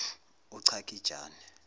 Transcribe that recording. uchakijane